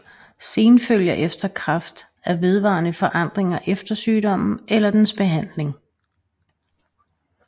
Senfølger efter kræft er vedvarende forandringer efter sygdommen eller dens behandling